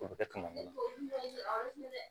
O bɛ kɛ kaman